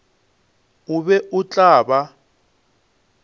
o be o tla ba